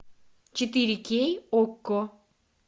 четыре кей окко